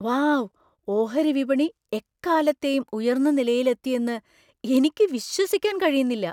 Wow , ഓഹരി വിപണി എക്കാലത്തെയും ഉയർന്ന നിലയിലെത്തിയെന്ന് എനിക്ക് വിശ്വസിക്കാൻ കഴിയുന്നില്ല!